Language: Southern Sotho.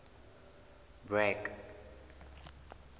bragg